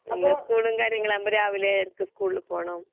പിന്നെ സ്കൂളും കാര്യങ്ങളും ആകുമ്പോൾ രാവിലെ നേരത്തെ സ്കൂളിൽ പോകണം.